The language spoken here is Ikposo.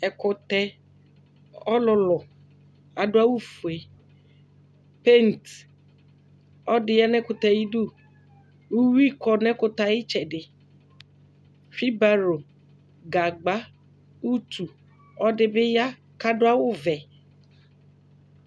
ɛkʊtɛ ɔlulʊ adʊ'awu fue paint ɔdi ya nɛkutɛɛ ayidu uwuɩ kɔ n'ekutɛe ayitsɛdɩ Fibalo gagba utu ɔdɩbɩ ya kadu'awuvɛ